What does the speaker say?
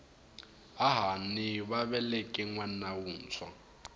hahani va veleke nwana wuntshwa